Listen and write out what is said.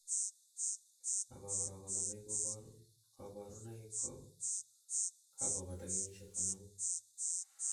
abakora konomei kaborunoik kokakobata kenyisiek konomu